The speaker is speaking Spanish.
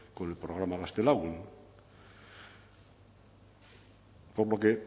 con el programa gaztelagun por lo que